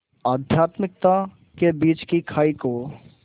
आध्यात्मिकता के बीच की खाई को